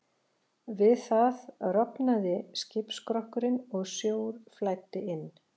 Við það rofnaði skipsskrokkurinn og sjór flæddi inn.